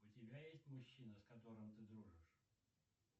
у тебя есть мужчина с которым ты дружишь